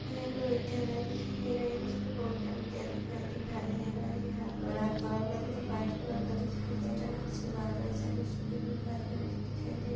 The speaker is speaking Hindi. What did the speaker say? मेरे को विद्यालय दिखाई दे रहा है जिसपे